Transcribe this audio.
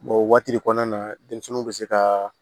o waati kɔnɔna na denmisɛnninw bɛ se ka